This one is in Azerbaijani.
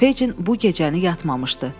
Feycin bu gecəni yatmamışdı.